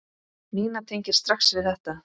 Nína tengir strax við þetta.